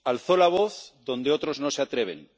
alzó la voz donde otros no se atreven